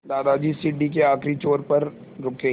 दादाजी सीढ़ी के आखिरी छोर पर रुके